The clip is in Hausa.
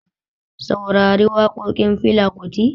Saurari waƙoƙin Fela Kuti